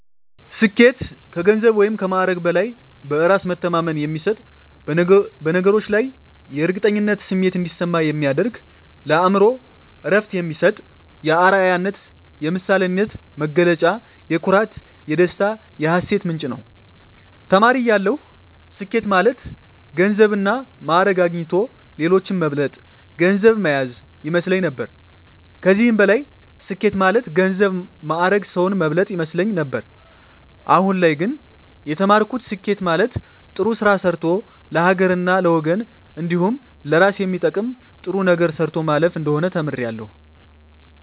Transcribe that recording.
ስኬት ከገንዘብ ወይም ከማዕረግ በላይ በእራስ መተማመን የሚሰጥ በነገሮች ላይ የእርግጠኝነት ስሜት እንዲሰማ የሚያደርግ ለአእምሮ እረፍት የሚሰጥ የአረያነት የምሳሌነት መገለጫ የኩራት የደስታ የሀሴት ምንጭ ነዉ። ተማሪ እያለሁ ስኬት ማለት ገንዘብና ማእረግ አግኝቶ ሌሎችን መብለጥ ገንዘብ ማያዝ ይመስለኝ ነበር ከዚህም በላይ ስኬት ማለት ገንዘብ ማእረግ ሰዉን መብለጥ ይመስለኝ ነበር አሁን ላይ ግን የተማርኩት ስኬት ማለት ጥሩ ስራ ሰርቶ ለሀገርና ለወገን እንዲሁም ለእራስ የሚጠቅም ጥሩ ነገር ሰርቶ ማለፍ እንደሆነ ተምሬያለሁ።